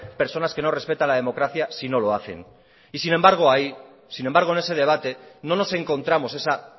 personas que no respetan la democracia si no lo hacen y sin embargo en ese debate no nos encontramos esa